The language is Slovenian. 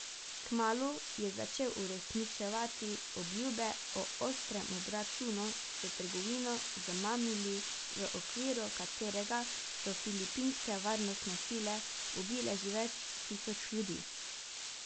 Kmalu je začel uresničevati obljube o ostrem obračunu s trgovino z mamili, v okviru katerega so filipinske varnostne sile ubile že več tisoč ljudi.